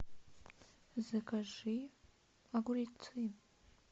закажи огурцы